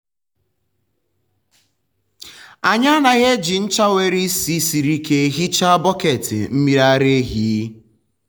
anyị anaghị eji ncha nwere ísì siri ike hichaa bọket mmiri ara ehi.